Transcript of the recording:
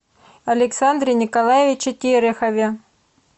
александре николаевиче терехове